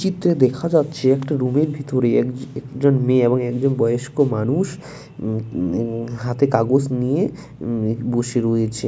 চিত্র দেখা যাচ্ছে একটা রুম - এর ভিতরে এক একজন মেয়ে এবং একজন বয়স্ক মানুষ উম ই হাতে কাগজ নিয়ে উম বসে রয়েছে।